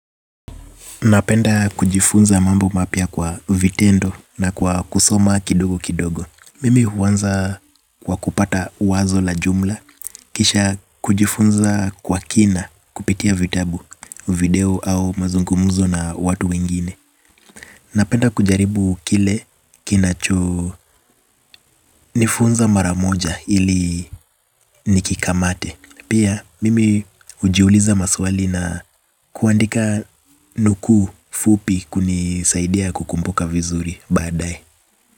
Napenda kujifunza mambo mapya kwa vitendo na kwa kusoma kidogo kidogo. Mimi huanza kwa kupata wazo la jumla kisha kujifunza kwa kina kupitia vitabu, video au mazungumuzo na watu wengine. Napenda kujaribu kile kinachonifunza maramoja ili nikikamate. Pia mimi hujiuliza maswali na kuandika nuku fupi kunisaidia kukummuka vizuri baadae.